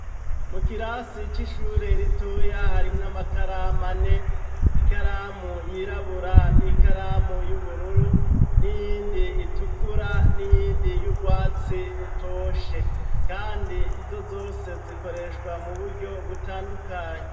Mu kirasi c'ishure ritoya harimwo amakaramu ane: ikaramu yirabura n'ikaramu y'ubururu, n'iyindi itukura n'iyindi y'urwatsi rutoshe, kandi izo zose zikoreshwa mu buryo butandukanye.